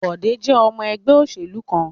Bọ̀dé jẹ́ ọmọ ẹgbẹ́ ìṣèlú kan.